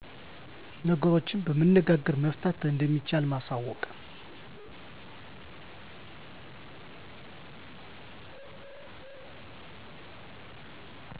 ነገሮችን በመነጋገር መፍታት እንደሚቻል ማሳወቅ